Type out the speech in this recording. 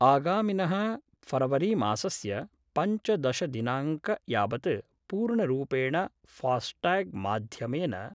आगमिन: फरवरीमासस्य पञ्चदशदिनांक यावत् पूर्णरूपेण फास्टाग् माध्यमेन